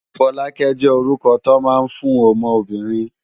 Folake jé órúkò tó má n fún òmò óbìrín